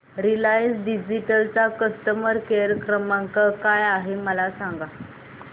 Reliance digital चा customer care क्रमांक काय आहे मला सांगा